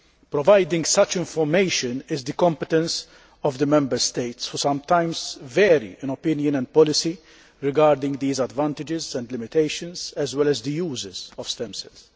Providing such information is the competence of the Member States, which sometimes vary in opinion and policy regarding the advantages and limitations, as well as the uses, of stem cells.